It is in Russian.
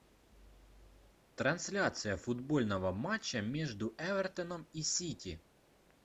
трансляция футбольного матча между эвертоном и сити